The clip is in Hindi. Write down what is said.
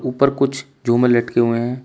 ऊपर कुछ झूमर लटके हुए हैं।